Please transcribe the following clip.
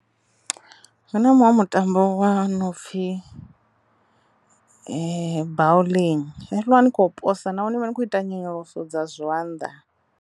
Hu na muṅwe mutambo wa no pfhi bawling, zwezwiḽa ni kho posa naho ni vha ni khou ita nyonyoloso dza zwanḓa.